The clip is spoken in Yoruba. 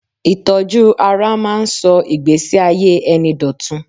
Ìtọ́jú ara ń máa ń sọ ìgbẹ́síayé ẹni dọ̀tun.